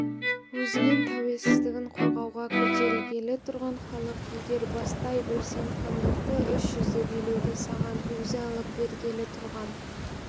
өзінің тәуелсіздігін қорғауға көтерілгелі тұрған халық егер бастай білсең хандықты үш жүзді билеуді саған өзі алып бергелі тұрған